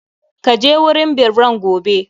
Ka je wurin birran gobe!